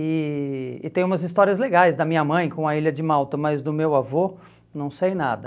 E e tem umas histórias legais da minha mãe com a Ilha de Malta, mas do meu avô não sei nada.